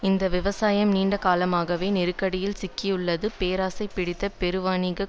இந்த விவசாயம் நீண்ட காலமாகவே நெருக்கடியில் சிக்கியுள்ளது பேராசை பிடித்த பெருவணிகக்